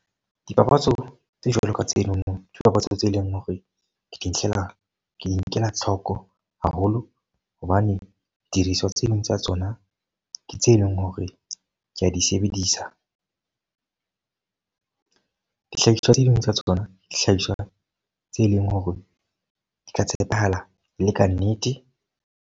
Dipapatso tse jwalo ka tsenono, ke dipapatso tse leng hore ke di ntlela ke di nkela tlhoko haholo. Hobane di diriswa tse ding tsa tsona ke tse leng hore ke a di sebedisa. Dihlahiswa tse ding tsa tsona, dihlahiswa tse leng hore di ka tshepahala e ke ka nnete.